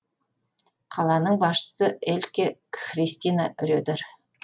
қаланың басшысы эльке христина редер